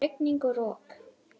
Rigning og rok.